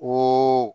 Ni